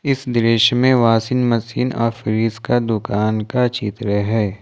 इस दृश्य में वाशिंग मशीन और फ्रिज का दुकान का चित्र है।